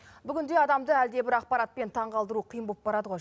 бүгінде адамды әлде бір ақпаратпен таң қалдыру қиын боп барады ғой